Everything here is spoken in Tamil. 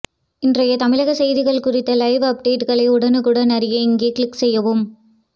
இன்றைய தமிழக செய்திகள் குறித்த லைவ் அப்டேட்டுகளை உடனுக்குடன் அறிய இங்கே க்ளிக் செய்யவும்